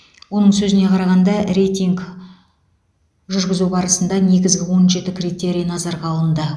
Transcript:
оның сөзіне қарағанда рейтинг жүргізу барысында негізгі он жеті критерий назарға алынды